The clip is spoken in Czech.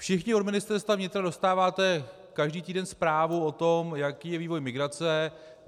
Všichni od Ministerstva vnitra dostáváte každý týden zprávu o tom, jaký je vývoj migrace.